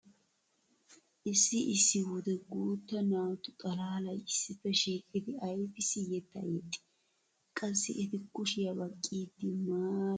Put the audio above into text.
Issi issi wode guutta naatu xalaalay issippe shiiqidi aybissi yettaa yeexxii? Qassi eti kushiya baqqiiddi maaraa eqqi yexxiyogee aybaa qonccissii?